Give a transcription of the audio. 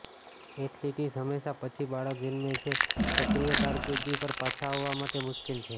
athletes હંમેશા પછી બાળક જન્મે છે સક્રિય કારકિર્દી પર પાછા આવવા માટે મુશ્કેલ છે